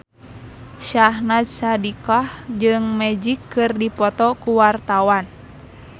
Syahnaz Sadiqah jeung Magic keur dipoto ku wartawan